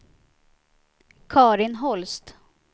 Carin Holst